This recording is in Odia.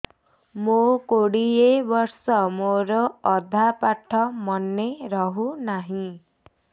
ମୋ କୋଡ଼ିଏ ବର୍ଷ ମୋର ଅଧା ପାଠ ମନେ ରହୁନାହିଁ